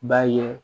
B'a ye